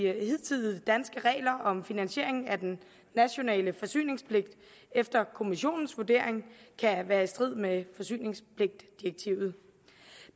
hidtidige danske regler om finansiering af den nationale forsyningspligt efter kommissionens vurdering kan være i strid med forsyningspligtdirektivet